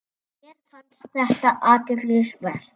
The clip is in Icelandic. Mér fannst þetta athygli vert.